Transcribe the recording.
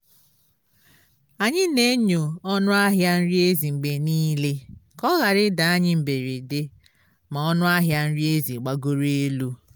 anyị na-enyo ọnụ ahịa nri ezi mgbe nile ka ọ ghara ịda anyi mberede ma ọnụ ahịa nri ezi gbagoro elu